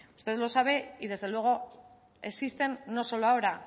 usted lo sabe y desde luego existen no solo ahora